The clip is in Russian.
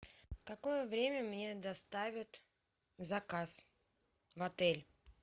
в какое время мне доставят заказ в отель